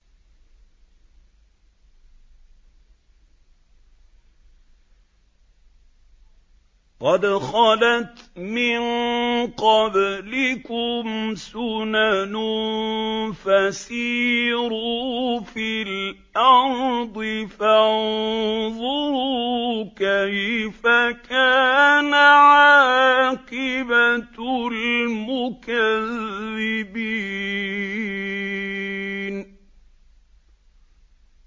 قَدْ خَلَتْ مِن قَبْلِكُمْ سُنَنٌ فَسِيرُوا فِي الْأَرْضِ فَانظُرُوا كَيْفَ كَانَ عَاقِبَةُ الْمُكَذِّبِينَ